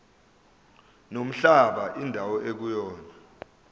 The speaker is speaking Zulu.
nomhlaba indawo ekuyona